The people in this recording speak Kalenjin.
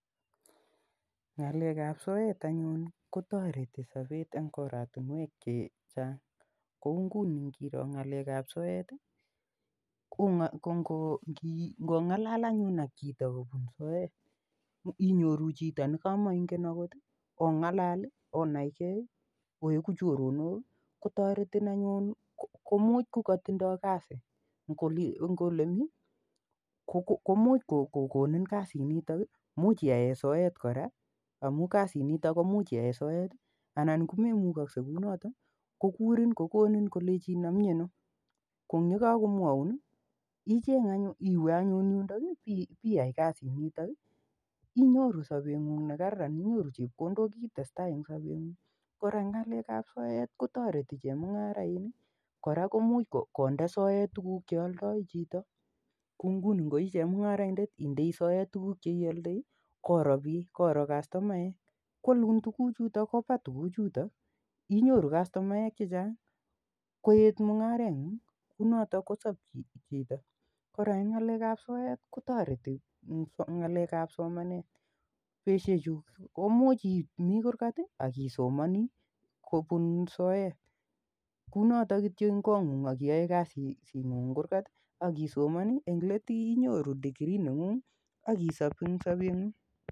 Ng'alek ap soet anyun kotareti sapet eng' oratunwek che chang' kou nguni ngiro ng'alek ap soet i, ko ngong'alal anyun ak chito kopun soet imyoru chito ne kamainget akot i, ong'alal onai gei, kotaretin anyun komuch ko katindai kasi eng' ole mi, ko much kokonin kasinitok imuch iyae soet kora amu kasiniton ko much iyae sowt anan ko memukase kou notok ko kurin kolechinin ami ano. Ko ang' ye kakomwaun i, icheng' anyun, iwe anyun yundok ipiyai kasinitok. Inyoru sapeg'ung' ne kararan inyoru chepkondok itestai eng' sapeng'ung'. Kora eng' ng'alek ap soet ko tareti chemmung'arainik. Kora komuch konde soet tuguk che aldai chito, kou nguni ngo i chemung'araindet indei soet tuguk che ialdai koro piik, koro kastomaek, ko alun tugucutok kopa tuguchutok inyoru kastomaek ce chang', koet mung'areng'ung', kou notok ko sap chito. Kora ng'alek ap soet ko tareti ng'alek ap somanet. Petushechu komuch imi kurgat ak isomani eng' soet kou notok kityo eng' kong'ung' ak iiyae kasingung' eng' kurkat ak isomani eng'let inyoru [cs[degree neng'ung' ak isap en sapeng'ung'.